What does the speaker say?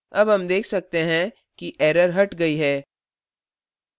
अब हम देख सकते हैं कि error हट गई है